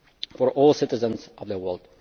for all citizens in the